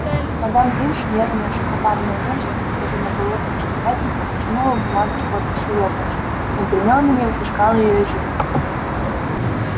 мадам пинс нервная сухопарая женщина похожая на голодного стервятника потянулась к бумаге с подписью локонса но гермиона не выпускала её из рук